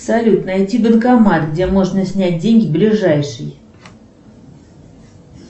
салют найти банкомат где можно снять деньги ближайший